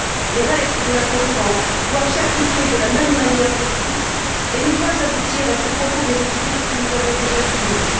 Les règles de la concurrence doivent s'appliquer de la même manière à tous et ne pas aboutir à ce profond déséquilibre que nous avons déjà souligné.